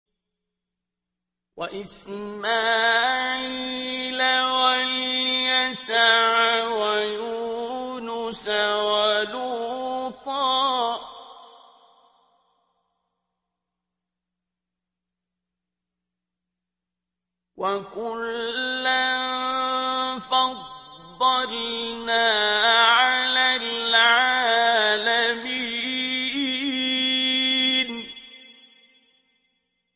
وَإِسْمَاعِيلَ وَالْيَسَعَ وَيُونُسَ وَلُوطًا ۚ وَكُلًّا فَضَّلْنَا عَلَى الْعَالَمِينَ